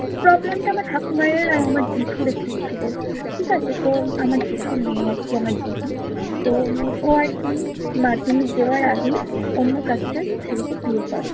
problem টা আমার ঠাকুমায়ের আর আমার জেঠুর একটা ছিলো। ঠিকাছে তো আমার জেঠুর মেয়ে আরকি আমার দিদি। তো উম ও আরকি মাধ্যমিক দেওয়ার আগেই অন্য caste এর ছেলেকে বিয়ে করে।